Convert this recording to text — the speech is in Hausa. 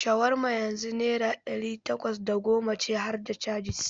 Shawarma yanzu naira ɗari takwas da goma ce harda cajis.